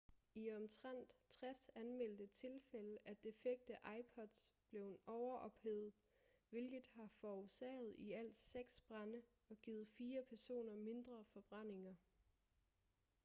i omtrent 60 anmeldte tilfælde er defekte ipods blevet overophedet hvilket har forårsaget i alt seks brande og givet fire personer mindre forbrændinger